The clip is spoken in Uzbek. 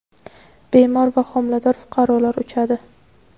bemor va homilador fuqarolar uchadi.